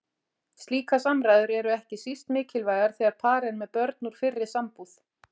Slíkar samræður eru ekki síst mikilvægar þegar par er með börn úr fyrri sambúð.